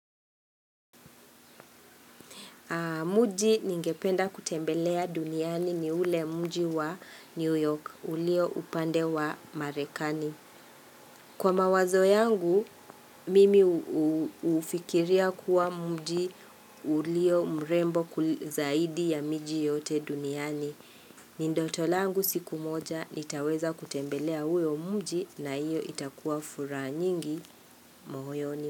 Mji ningependa kutembelea duniani ni ule mji wa New York, ulio upande wa marekani. Kwa mawazo yangu, mimi hufikiria kuwa mji ulio mrembo zaidi ya miji yote duniani. Ni ndoto langu siku moja, nitaweza kutembelea huyo mji na hiyo itakuwa furaha nyingi moyoni.